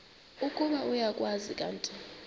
ukuba uyakwazi kanti